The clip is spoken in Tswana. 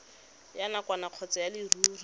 ya nakwana kgotsa ya leruri